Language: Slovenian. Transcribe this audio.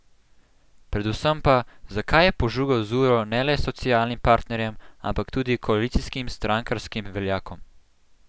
Predvsem pa, zakaj je požugal z uro ne le socialnim partnerjem, ampak tudi koalicijskim strankarskim veljakom?